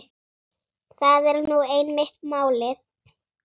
Það er nú einmitt málið.